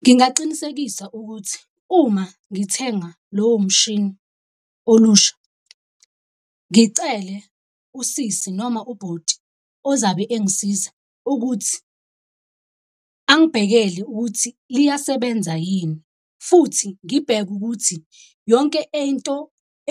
Ngingaqinisekisa ukuthi uma ngithenga lowo mshini olusha, ngicele usisi noma ubhoti ozabe engisiza ukuthi angibhekele ukuthi liyasebenza yini. Futhi ngibheke ukuthi yonke ento